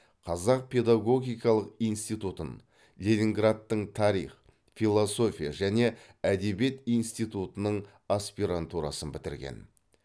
қазақ педагогикалық институтын ленинградтың тарих философия және әдебиет институтының аспирантурасын бітірген